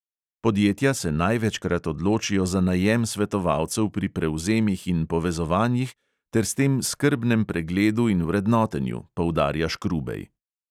Podjetja se največkrat odločijo za najem svetovalcev pri prevzemih in povezovanjih ter s tem skrbnem pregledu in vrednotenju, poudarja škrubej.